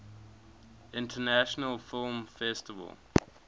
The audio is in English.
international film festival